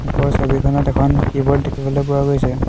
ওপৰৰ ছবিখনত এখন কীব'ৰ্ড দেখিবলৈ পোৱা গৈছে।